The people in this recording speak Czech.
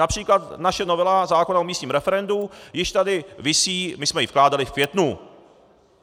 Například naše novela zákona o místním referendu již tady visí, my jsme ji vkládali v květnu.